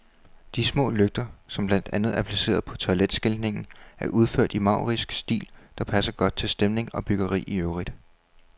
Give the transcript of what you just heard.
De små lygter, som blandt andet er placeret på toiletskiltningen, er udført i en maurisk stil, der passer godt til stemning og byggeri i øvrigt.